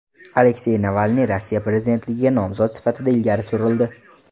Aleksey Navalniy Rossiya prezidentligiga nomzod sifatida ilgari surildi.